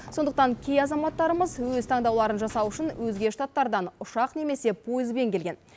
сондықтан кей азаматтарымыз өз таңдауларын жасау үшін өзге штататтардан ұшақ немесе пойызбен келген